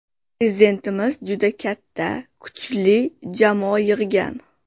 Prezidentimiz juda katta, kuchli jamoa yig‘gan.